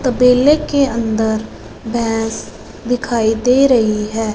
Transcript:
तबेले के अंदर भैंस दिखाई दे रही है।